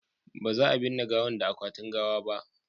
ba za a binne gawan da akwatin gawa ba